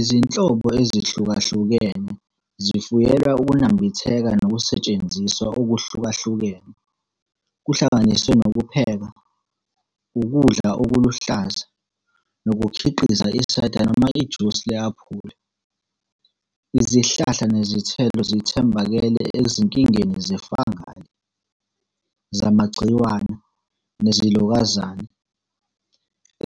Izinhlobo ezihlukahlukene zifuyelwa ukunambitheka nokusetshenziswa okuhlukahlukene, kuhlanganise nokupheka, ukudla okuluhlaza, nokukhiqiza i-cider noma ijusi le-aphula. Izihlahla nezithelo zithambekele ezinkingeni ze-fungal, zamagciwane, nezilokazane,